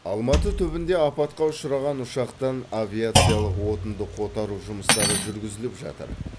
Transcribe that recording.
алматы түбінде апатқа ұшыраған ұшақтан авиациялық отынды қотару жұмыстары жүргізіліп жатыр